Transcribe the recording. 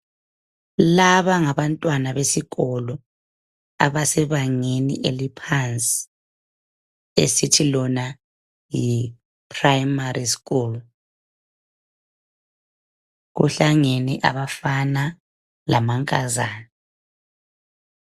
Laba ngabantwana besikolo abesebangeni eliphansi. Kuhlangene abafana lamankazana.